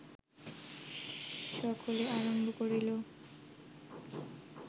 সকলে আরম্ভ করিল